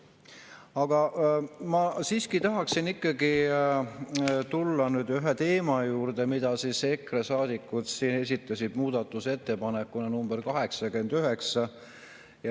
Aga ma siiski tahaksin tulla ühe teema juurde, mille EKRE saadikud esitasid muudatusettepanekuna nr 89.